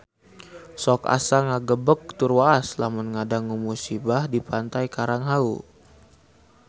Sok asa ngagebeg tur waas lamun ngadangu musibah di Pantai Karang Hawu